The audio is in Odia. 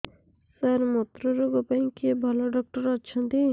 ସାର ମୁତ୍ରରୋଗ ପାଇଁ କିଏ ଭଲ ଡକ୍ଟର ଅଛନ୍ତି